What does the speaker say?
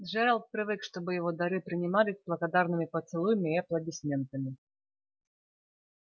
джералд привык чтобы его дары принимались благодарными поцелуями и аплодисментами